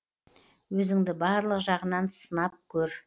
өзіңді барлық жағынан сынып көр